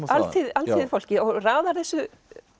alþýðufólki og raðar þessu